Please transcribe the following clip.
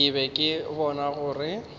ke be ke bona gore